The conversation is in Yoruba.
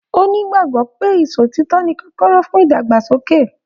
O n'igbagbọ pé ìsọ òtítọ ní kọkọrọ fún ìdàgbàsókè.